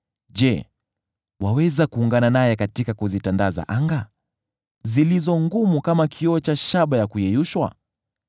je, waweza kuungana naye katika kuzitandaza anga, zilizo ngumu kama kioo cha shaba ya kuyeyushwa?